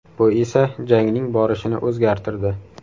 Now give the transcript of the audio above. Bu esa jangning borishini o‘zgartirdi.